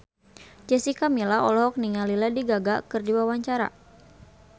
Jessica Milla olohok ningali Lady Gaga keur diwawancara